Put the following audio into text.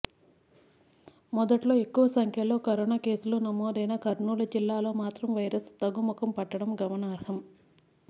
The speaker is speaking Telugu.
మొదట్లో ఎక్కువ సంఖ్యలో కరోనా కేసులు నమోదైన కర్నూలు జిల్లాలో మాత్రం వైరస్ తగ్గుముఖం పట్టడం గమనార్హం